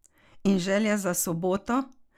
In želja za soboto?